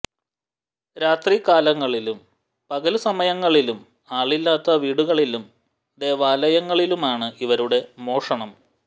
രാത്രി കാലങ്ങളിലും പകല് സമയങ്ങളിലും ആളില്ലാത്ത വീടുകളിലും ദേവാലയങ്ങളിലുമാണ് ഇവരുടെ മോഷണം